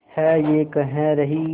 है ये कह रही